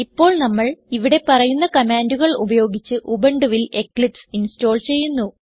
ഇപ്പോൾ നമ്മൾ ഇവിടെ പറയുന്ന കമാൻഡുകൾ ഉപയോഗിച്ച് ഉബുണ്ടുവിൽ എക്ലിപ്സ് ഇൻസ്റ്റോൾ ചെയ്യുന്നു